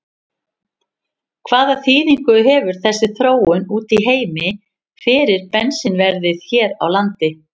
Hvaða þýðingu hefur þessi þróun úti í heimi fyrir bensínverðið hér á landi?